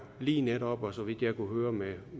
lige netop og så vidt jeg kunne høre med